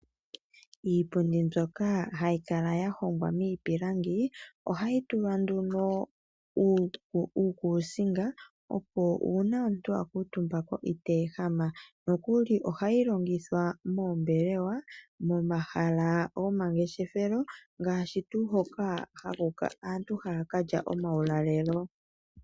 Iipundi mbyoka hayi Kala ya hongwa mipilangi ohayi tulwa nduno uukusinga opo una omuntu a kuutumba ko iteehama nokuli ohayi longithwa mombelewa, momahala goma ngeshefelo ngashi tu hoka aantu haya kalya omawulalelo.